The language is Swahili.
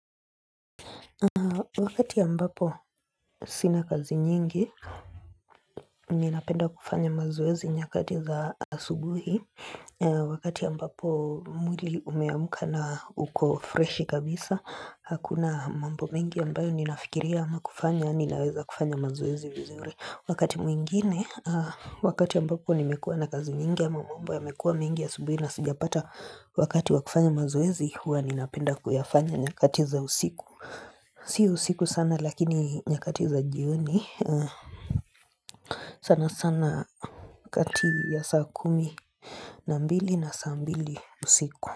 Wakati ambapo sina kazi nyingi, ninapenda kufanya mazoezi nyakati za asubuhi. Wakati ambapo mwili umeamka na uko freshi kabisa, hakuna mambo mengi ambayo ninafikiria ama kufanya, ninaweza kufanya mazoezi vizuri. Wakati mwingine, wakati ambapo nimekuwa na kazi nyingi ama mambo yamekuwa mengi asubuhi na sijapata wakati wa kufanya mazoezi, huwa ninapenda kuyafanya nyakati za usiku. Siyo usiku sana lakini nyakati za jioni. Sana sana kati ya saa kumi na mbili na saa mbili usiku.